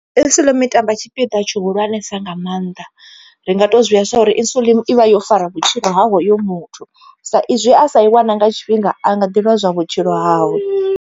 Insulin i tamba tshipiḓa tshi hulwanesa nga maanḓa ri nga to zwivheya sa uri insulin ivha yo fara vhutshilo ha hoyo muthu, sa izwi a sa i wana nga tshifhinga a nga ḓi lozwa vhutshilo hawe.